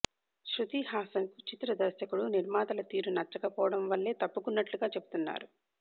శృతిహాసన్కు చిత్ర దర్శకుడు నిర్మాతల తీరు నచ్చక పోవడం వల్లే తప్పుకున్నట్లుగా చెబుతున్నారు